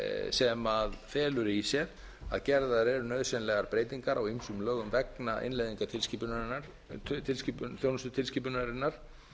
sem felur í sér að gerðar eru nauðsynlegar breytingar á ýmsum lögum vegna innleiðingartilskipunarinnar þjónustutilskipunarinnar